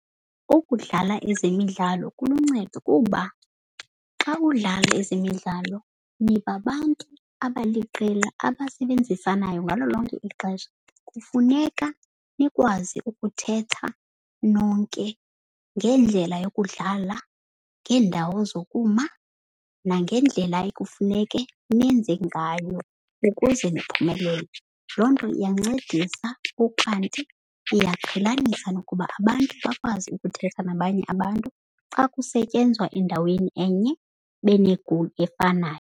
Ukudlala ezemidlalo kuluncedo kuba xa udlala ezemidlalo niba bantu abaliqela abasebenzisanayo ngalo lonke ixesha. Kufuneka nikwazi ukuthetha nonke ngendlela yokudlala, ngeendawo zokuma, nangendlela ekufuneke nenze ngayo ukuze niphumelele. Loo nto iyancedisa ukanti iyaqhelanisa nokuba abantu bakwazi ukuthetha nabanye abantu xa kusetyenzwa endaweni enye bene-goal efanayo.